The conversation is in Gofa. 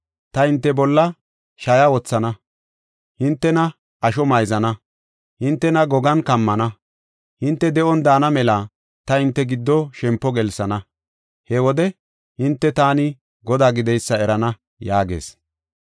Ta hinte bolla shaya wothana; hintena asho mayzana; hintena gogan kammana. Hinte de7on daana mela ta hinte giddo shempo gelsana. He wode hinte taani Godaa gideysa erana’ ” yaagees.